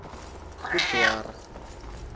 kudwarha